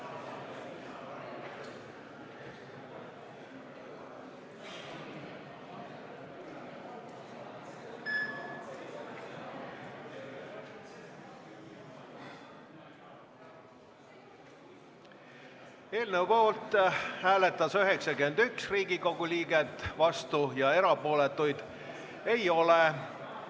Hääletustulemused Eelnõu poolt hääletas 91 Riigikogu liiget, vastuolijaid ja erapooletuid ei ole.